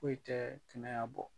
Foyi tɛ kɛnɛya bɔ.